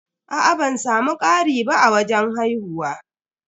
Aa ban samu ƙari ba a wajen haihuwa.